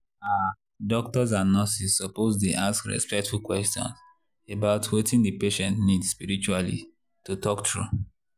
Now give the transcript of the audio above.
ah doctors and nurses suppose dey ask respectful questions about wetin the patient need spiritually to talk true.